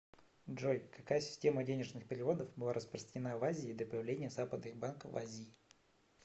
джой какая система денежных переводов была распространена в азии до появления западных банков в азии